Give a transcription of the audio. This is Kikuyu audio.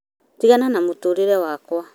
tigana na mũtũrĩre wakwa